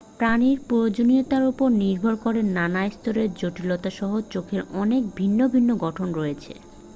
প্রাণীর প্রয়োজনীয়তার উপর নির্ভর করে নানা স্তরের জটিলতাসহ চোখের অনেক ভিন্ন ভিন্ন গঠন রয়েছে